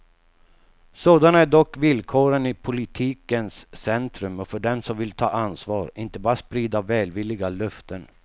Sådana är dock villkoren i politikens centrum och för dem som vill ta ansvar, inte bara sprida välvilliga löften.